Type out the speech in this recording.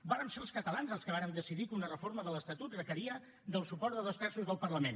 vàrem ser els catalans els que vàrem decidir que una reforma de l’estatut requeria el suport de dos terços del parlament